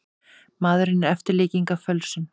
Maðurinn er eftirlíking af fölsun.